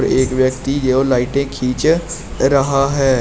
एक व्यक्ति जो लाइटे खींच रहा है।